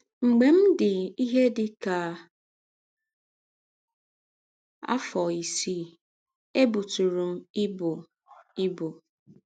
“ Mgbe m dị ihe dị ka afọ isii, ebụtụrụ m ibụ. ibụ.